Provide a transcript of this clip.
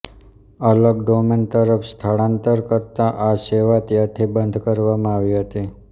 અલગ ડોમેન તરફ સ્થળાંતર કરતા આ સેવા ત્યારથી બંધ કરવામાં આવી હતી